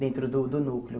Dentro do do núcleo.